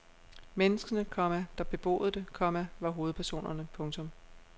Menneskene, komma der beboede det, komma var hovedpersonerne. punktum